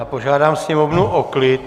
Já požádám Sněmovnu o klid.